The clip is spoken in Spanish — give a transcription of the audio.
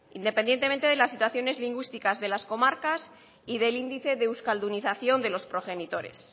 independientemente de las situaciones lingüísticas de las comarcas y del índice de euskaldunización de los progenitores